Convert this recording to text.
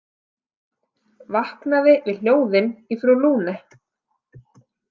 Vaknaði við hljóðin í frú Lune.